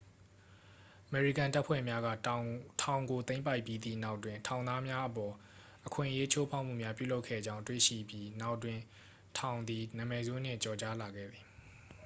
"""အမေရိကန်တပ်ဖွဲ့များက ထောင်ကို သိမ်းပိုက်ပြီးသည့်နောက်တွင် ထောင်သားများအပေါ် အခွင့်အရေး ချိုးဖောက်မှုများပြုလုပ်ခဲ့ကြောင်း တွေ့ရှိပြီးနောက်တွင် ထောင်သည် နာမည်ဆိုးနှင့် ကျော်ကြားလာခဲ့သည်။""